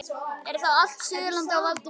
Er þá allt Suðurland á valdi föður þíns?